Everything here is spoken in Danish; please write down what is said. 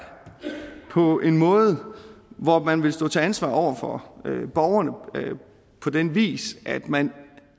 på en måde hvor man vil stå til ansvar over for borgerne på den vis at man